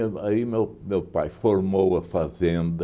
Aí meu meu pai formou a fazenda.